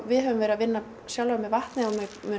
við höfum verið að vinna með vatnið á